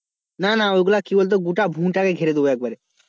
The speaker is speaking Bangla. না না ওইগুলা কি বলতো গোটা ভূ টাকে ঘেরে দেবো একবারে।